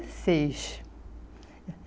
seis